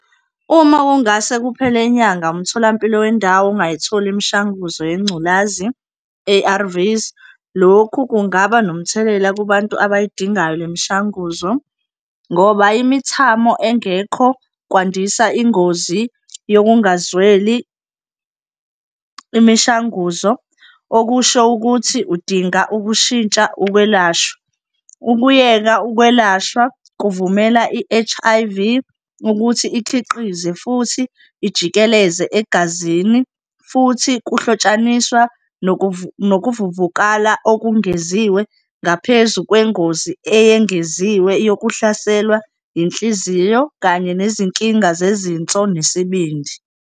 Uma kungase kuphele inyanga umtholampilo wendawo ungayitholi imishanguzo yengculazi, A_R_V-s. Lokhu kungaba nomthelela kubantu abayidingayo le mishanguzo ngoba imithamo engekho kwandisa ingozi yokungazweli imishanguzo, okusho ukuthi udinga ukushintsha ukwelashwa. Ukuyeka ukwelashwa kuvumela i-H_I_V ukuthi ikhiqize futhi ijikeleze egazini futhi kuhlotshaniswa nokuvuvukala okungeziwe ngaphezu kwengozi eyengeziwe yokuhlaselwa inhliziyo kanye nezinkinga zezinso nesibindi.